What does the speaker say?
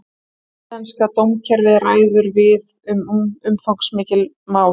Íslenska dómskerfið ræður við umfangsmikil mál